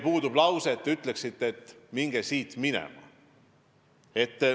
Puudub veel, et te ütleksite, et minge siit minema.